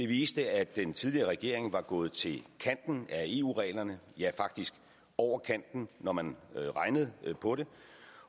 viste at den tidligere regering var gået til kanten af eu reglerne ja faktisk over kanten når man regnede på det